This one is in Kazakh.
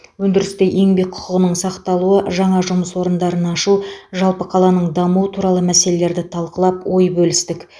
өндірісте еңбек құқығының сақталуы жаңа жұмыс орындарын ашу жалпы қаланың дамуы туралы мәселелерді талқылап ой бөлістік